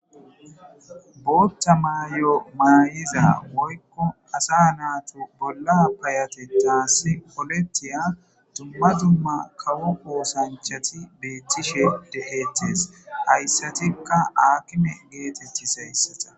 bootta maayo maayiza woykko asa naatu bolla payate taasi polettiya dumma dumma kawu qoosanchati beettishe dehettes hayssatikka aakime geetetti sayssata